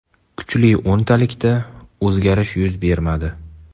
Kuchli o‘ntalikda o‘zgarish yuz bermadi.